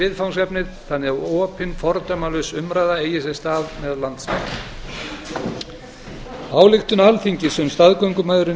viðfangsefnið þannig að opin fordómalaus umræða eigi sér stað meðal landsmanna ályktun alþingis um staðgöngumæðrun í